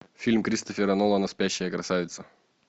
фильм кристофера нолана спящая красавица